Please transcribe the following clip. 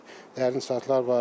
Dərin çatılar var.